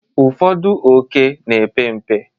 ụfọdụ ókè na-epe mpe